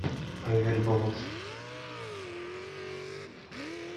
проверь баланс